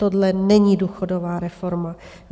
Tohle není důchodová reforma!